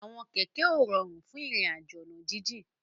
Àwọn kẹ̀kẹ́ ó ròrún fún irin àjó ọ̀nà jijin